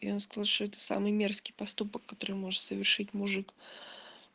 я слышу это самый мерзкий поступок который может совершить мужик